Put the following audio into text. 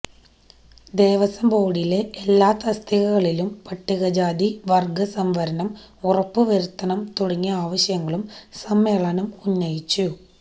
ദേവസ്വം ബോര്ഡിലെ എല്ലാ തസ്തികകളിലും പട്ടികജാതി വര്ഗ്ഗ സംവരണം ഉറപ്പ് വരുത്തണം തുടങ്ങിയ ആവശ്യങ്ങളും സ്രമ്മേളനം ഉന്നയിച്ചു